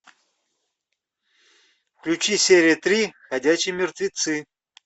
включи серия три ходячие мертвецы